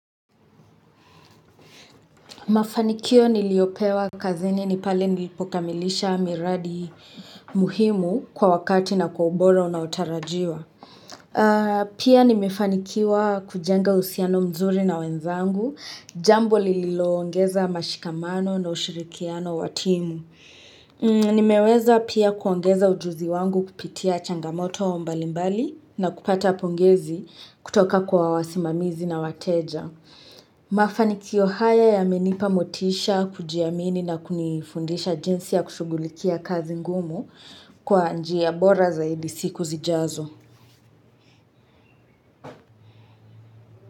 Mafanikio niliyopewa kazini ni pale nilipokamilisha miradi muhimu kwa wakati na kwa ubora unao tarajiwa. Pia nimefanikiwa kujenga uhusiano mzuri na wenzangu, jambo lililoongeza mashikamano na ushirikiano wa timu. Nimeweza pia kuongeza ujuzi wangu kupitia changamoto mbali mbali na kupata pongezi kutoka kwa wasimamizi na wateja mafanikio haya yamenipa motisha kujiamini na kunifundisha jinsi ya kushughulikia kazi ngumu kwa njia bora zaidi siku zijazo.